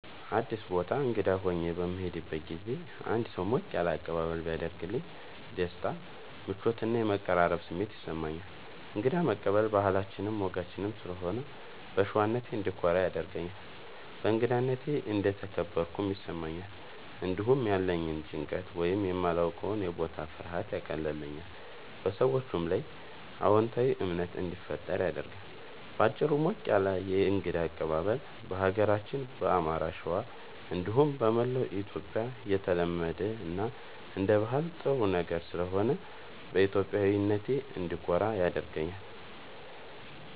አዲስ ቦታ እንግዳ ሆኜ በምሄድበት ጊዜ አንድ ሰው ሞቅ ያለ አቀባበል ቢያደርግልኝ ደስታ፣ ምቾት እና የመቀራረብ ስሜት ይሰማኛል። እንግዳ መቀበል ባህላችንም ወጋችንም ስለሆነ በሸዋነቴ እንድኮራ ያደርገኛል። በእንግዳነቴ እንደተከበርኩም ይሰማኛል። እንዲሁም ያለኝን ጭንቀት ወይም የማላዉቀዉ የቦታ ፍርሃት ያቀልልኛል፣ በሰዎቹም ላይ አዎንታዊ እምነት እንዲፈጠር ያደርጋል። በአጭሩ፣ ሞቅ ያለ የእንግዳ አቀባበል በሀገራችን በአማራ(ሸዋ) እንዲሁም በመላዉ ኢትዮጽያ የተለመደ እና አንደ ባህል ጥሩ ነገር ስለሆነ በኢትዮጵያዊነቴ እንድኮራ ያደርገኛል።